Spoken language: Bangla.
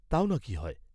তাও নাকি হয়?